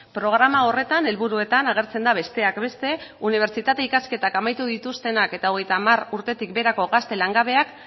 programa horretan helburuetan agertzen da besteak beste unibertsitate ikasketak amaitu dituztenak eta hogeita hamar urtetik beherako gazte langabeak